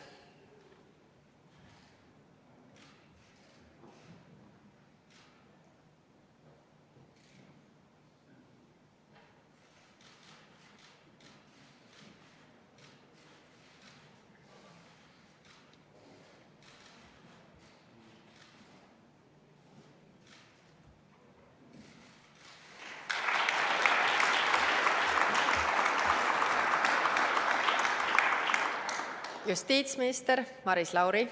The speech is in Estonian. Justiitsminister Maris Lauri.